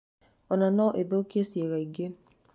Ona no ĩthũkie ciĩga ingĩ.